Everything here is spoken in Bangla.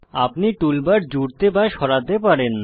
আপনি টুলবার জুড়তে বা সরাতে পারেন